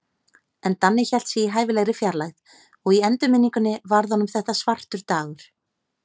En Danni hélt sig í hæfilegri fjarlægð, og í endurminningunni varð honum þetta svartur dagur.